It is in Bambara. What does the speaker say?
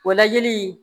O lajɛli